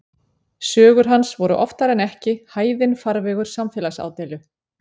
Sögur hans voru oftar en ekki hæðinn farvegur samfélagsádeilu.